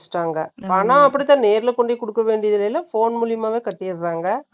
ஆனா, அப்படிதான், நேர்ல கொண்டு போய், கொடுக்க வேண்டியது இல்லை. இல்லை. Phone மூலியமாவே கட்டிடுறாங்க.